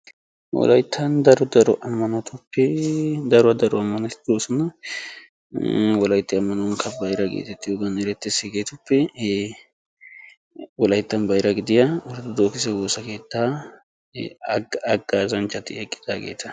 wolayttan daro daro ammanotuppe daro daro ammanoti de'oosona. wolaytti ammanuwankka bayra gidiyogan erettes. wolayttan bayra gidiya ortodoogise woosa keettaa haggaazanchchati eqqidaageeta.